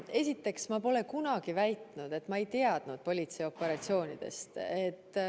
Esiteks, ma pole kunagi väitnud, et ma ei teadnud politseioperatsioonidest.